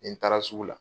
Ni n taara sugu la